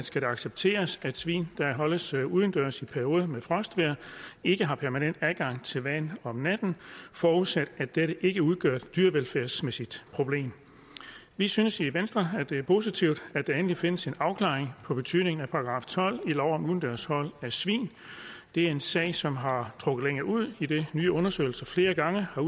skal det accepteres at svin der holdes udendørs i perioder med frostvejr ikke har permanent adgang til vand om natten forudsat at dette ikke udgør et dyrevelfærdsmæssigt problem vi synes i venstre at det er positivt at der endelig findes en afklaring af betydningen af § tolv i lov om udendørs hold af svin det er en sag som har trukket ud idet nye undersøgelser flere gange har